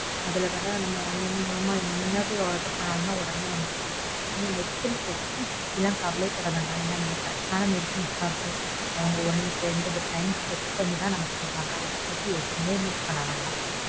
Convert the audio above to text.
அதுல வர நம்ம online மூலமா என்னது order பண்ணுனாலும் உடனே வந்துரும் நீ medicines medicines பத்திலாம் நீ கவலையே படவேண்டாம். நமக்கு correct ஆன medicines தான் இருக்கும். அவங்க ஒன்னுக்கு ரெண்டு timecheck பண்ணித்தான் நமக்கு தருவாங்க. அத பத்தி எதுவுமே think பண்ண வேண்டாம்.